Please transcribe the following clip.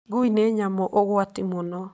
Ngui nĩ nyamũ ũgwati mũno.